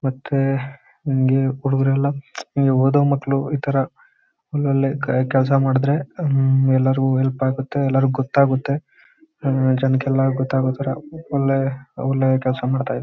ಮತ್ತೆ ನಂಗೆ ಹುಡಗ್ರ ಎಲ್ಲ ಹೀಗೆ ಓದೋ ಮಕ್ಳು ಈ ತರಾ ಒಳ್ ಒಳ್ಳೆ ಕೆಲ್ಸ ಮಾಡಿದ್ರೆ ಎಲ್ಲರಿಗು ಹೆಲ್ಪ್ ಆಗತ್ತೆ ಎಲ್ಲರಿಗು ಗೊತ್ತಾಗತ್ತೆ ಜನಕೆಲ್ಲ ಗೊತಾಗೋ ತರಾ ಒಳ್ಳೆ ಒಳ್ಳೆ ಕೆಲ್ಸ ಮಾಡ್ತಾ --